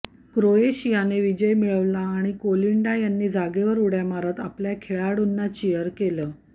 क्रोएशियाने विजय मिळवला आणि कोलिंडा यांनी जागेवर उड्या मारत आपल्या खेळाडूंना चीअर केलं